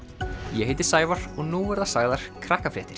ég heiti Sævar og nú verða sagðar